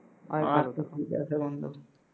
আচ্ছা ঠিক আছে বন্ধু